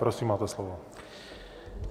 Prosím, máte slovo.